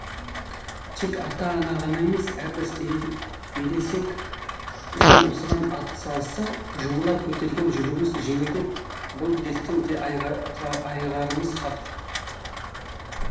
тек ата ана ғана емес әрбір ересек жан осыған ат салысса жұмыла көтерген жүгіміз жеңілдеп бұл дерттен де айығарымыз хақ